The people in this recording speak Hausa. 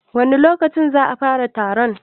wani lokaci za'a fara taron?